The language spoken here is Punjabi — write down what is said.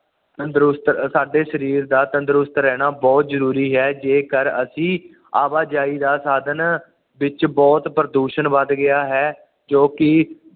ਤੰਦਰੁਸਤ ਸਾਡੇ ਸਰੀਰ ਦਾ ਤੰਦਰੁਸਤ ਰਹਿਣਾ ਬੁਹਤ ਜ਼ਰੂਰੀ ਹੈ ਜੇ ਕਰ ਅਸੀਂ ਆਵਾਜਾਈ ਦਾ ਸਾਧਨ ਵਿੱਚ ਬੁਹਤ ਪ੍ਰਦੂਸ਼ਣ ਵੱਧ ਗਿਆ ਹੈ ਜੋ ਕਿ